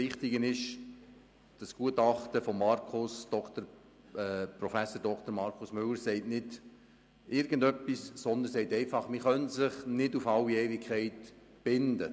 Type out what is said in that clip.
Wichtig ist, dass das Gutachten Müller sagt, man könne sich nicht auf alle Ewigkeit binden.